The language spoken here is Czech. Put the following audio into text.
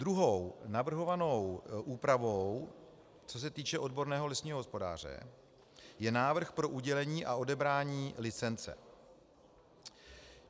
Druhou navrhovanou úpravou, co se týče odborného lesního hospodáře, je návrh pro udělení a odebrání licence.